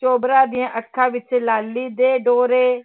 ਚੋਬਰਾ ਦੀਆਂ ਅੱਖਾਂ ਵਿੱਚ ਲਾਲੀ ਦੇ ਡੋਰੇ